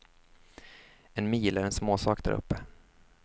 En mil är en småsak däruppe.